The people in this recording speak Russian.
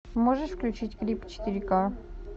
можешь включить клип четыре ка